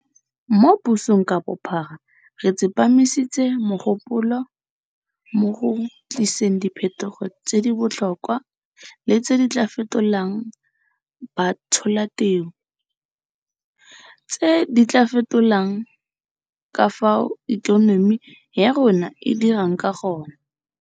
Mo pusong ka bophara re tsepamisitse mogopolo mo go tliseng diphetogo tse di botlhokwa le tse di tla fetolang batsholateu, tse di tla fetolang ka fao ikonomi ya rona e dirang ka gone.